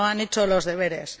No han hecho los deberes.